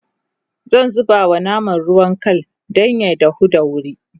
zan zubawa naman ruwan Kal Dan ya dahu da wuri